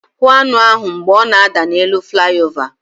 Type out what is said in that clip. Hụ aṅụ ahụ mgbe ọ na-ada n'elu flawa!